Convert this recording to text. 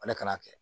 Ale kana kɛ